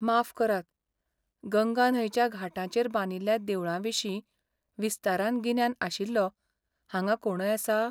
माफ करात, गंगा न्हंयच्या घाटांचेर बांदिल्ल्या देवळां विशीं विस्तारान गिन्यान आशिल्लो हांगा कोणय आसा?